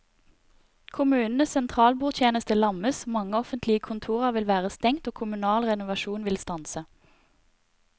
Kommunenes sentralbordtjeneste lammes, mange offentlige kontorer vil være stengt og kommunal renovasjon vil stanse.